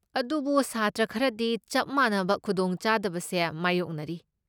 ꯑꯗꯨꯕꯨ ꯁꯥꯇ꯭ꯔ ꯈꯔꯗꯤ ꯆꯞ ꯃꯥꯟꯅꯕ ꯈꯨꯗꯣꯡ ꯆꯥꯗꯕꯁꯦ ꯃꯥꯌꯣꯛꯅꯔꯤ꯫